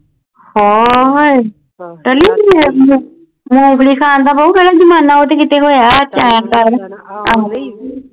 ਹਾਂ ਹਾਂਏ ਮੂੰਗਫਲੀ ਖਾਣ ਦਾ ਬਉ ਉਹ ਕਿਹੜਾ ਜਮਾਨਾ